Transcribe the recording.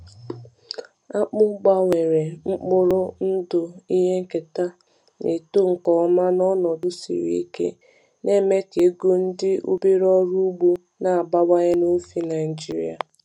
Akpụ Akpụ gbanwere mkpụrụ ndụ ihe nketa na-eto nke ọma n’ọnọdụ siri ike, na-eme ka ego ndị obere ọrụ ugbo na-abawanye n’ofe Naijiria.